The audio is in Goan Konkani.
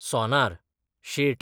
सोनार, शेट